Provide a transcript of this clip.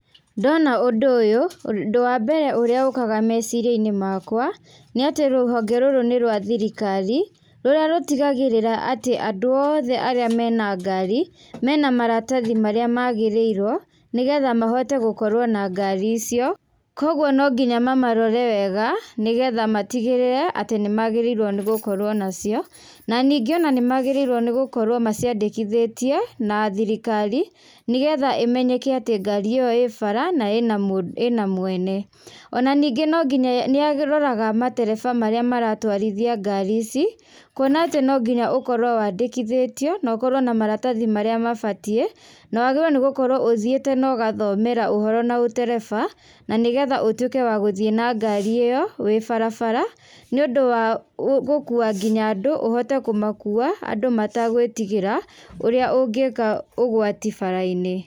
Ndona ũndũ ũyũ, ũndũ wa mbere ũrĩa ũkaga meciria-inĩ makwa nĩ atĩ rũhonge rũrũ nĩ rwa thirikari rũrĩa rũtigagĩrĩra atĩ andũ othe arĩa mena ngari mena maratathi marĩa magĩrĩirwo nĩgetha mahote gũkorwo na ngari icio. Koguo no nginya mamarore wega nĩgetha matigĩrĩre atĩ nĩmagĩrĩire gũkorwo nacio. Na ningĩ nĩmagĩrĩirwo nĩ gũkorwo maciandĩkithĩtie na thirikari nĩgetha ĩmenyeke atĩ ngari ĩyo ĩ bara na ĩna mwene. Ona ningĩ no nginya nĩaroraga matereba marĩa maratwarithia ngari ici, kuona atĩ no nginya ũkorwo wandĩkithĩtio na ũkorwo na maratathi marĩa mabatiĩ. Na wagĩrĩirwo gũkorwo ũthiĩte na ũgathomera ũhoro na ũtereba na nĩgetha ũtuĩke wa gũthiĩ na ngari ĩyo wĩ barabara nĩũndũ wa gũkuua nginya andũ, ũhote kũmakuua andũ mategũĩtigĩra ũrĩa ũngĩka ũgwati bara-inĩ.